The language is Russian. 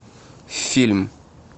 фильм